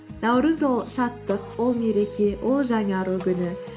наурыз ол шаттық ол мереке ол жаңару күні